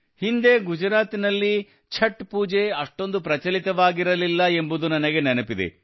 ಹಿಂದೆ ಗುಜರಾತಿನಲ್ಲಿ ಛಠ್ ಪೂಜೆ ಅಷ್ಟೊಂದು ಪ್ರಚಲಿತವಾಗಿರಲಿಲ್ಲ ಎಂಬುದು ನನಗೆ ನೆನಪಿದೆ